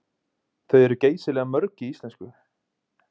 Þau eru geysilega mörg í íslensku.